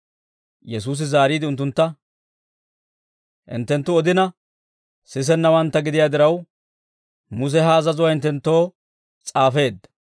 Yesuusi zaariide unttuntta, «Hinttenttu odina sisennawantta gidiyaa diraw, Muse ha azazuwaa hinttenttoo s'aafeedda.